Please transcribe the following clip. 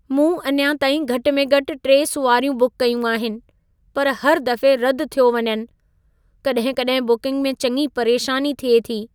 मूं अञा ताईं घटि में घटि 3 सुवारियूं बुकु कयूं आहिनि, पर हर दफ़े रदि थियो वञनि। कॾहिं-कॾहिं बुकिंग में चङी परेशानी थिए थी।